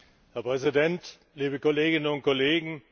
Herr Präsident, liebe Kolleginnen und Kollegen!